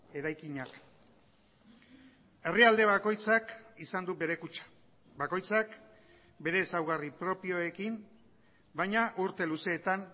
eraikinak herrialde bakoitzak izan du bere kutxa bakoitzak bere ezaugarri propioekin baina urte luzeetan